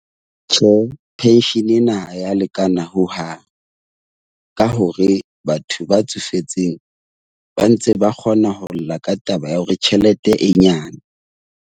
Tjhe, penshene ena ha ya lekana ho hang ka hore batho ba tsofetseng ba ntse ba kgona ho lla ka taba ya hore tjhelete e nyane.